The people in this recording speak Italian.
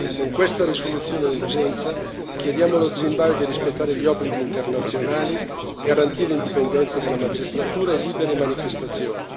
Con questa risoluzione d'urgenza chiediamo allo Zimbabwe di rispettare gli obblighi internazionali e di garantire l'indipendenza della magistratura e libere manifestazioni.